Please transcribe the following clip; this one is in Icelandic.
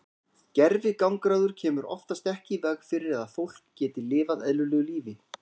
Gervigangráður kemur oftast ekki í veg fyrir að fólk geti lifað eðlilegu lífi.